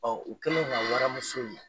Ɔ u kɛlen ka waramuso ye